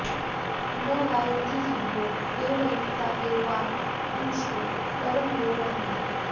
न वा॑यन्ति सु॒भ्वो॑ दे॒वयु॑क्ता॒ ये वां॑ धू॒र्षु त॒रण॑यो॒ वह॑न्ति